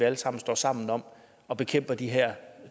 alle sammen står sammen om at bekæmpe de her